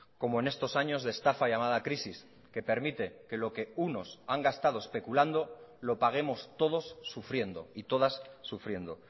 como en estos años de estafa llamada crisis que permite que lo que unos han gastado especulando lo paguemos todos sufriendo y todas sufriendo